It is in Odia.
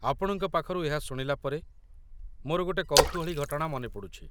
ଆପଣଙ୍କ ପାଖରୁ ଏହା ଶୁଣିଲା ପରେ ମୋର ଗୋଟେ କୌତୁହଳୀ ଘଟଣା ମନେ ପଡ଼ୁଛି